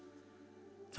það